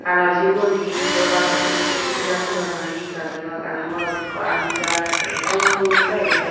araw sigun hi obak hijeni sugurigas obak na hi gaj obak araw morot ekko adi jar ekkerey dol dege.